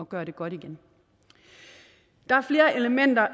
gøre det godt igen der er flere elementer